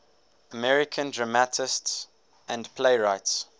american dramatists and playwrights